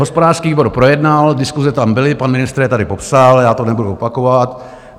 Hospodářský výbor projednal, diskuse tam byly, pan ministr je tady popsal, já to nebudu opakovat.